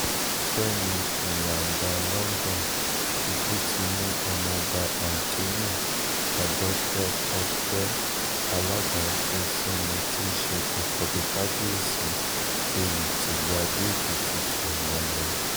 fẹ̀mí ìyàǹdà london ikú ti mú ọmọọba anthony adọ́kọ̀kè aládàṣesinmi tí í ṣe àkọ́bí kábíyèsí èwí tìlùú àdó-èkìtì àná lọ